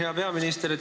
Hea peaminister!